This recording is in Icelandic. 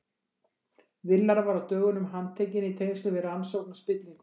Villar var á dögunum handtekinn í tengslum við rannsókn á spillingu.